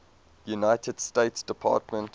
united states department